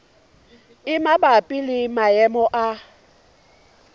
e mabapi le maemo a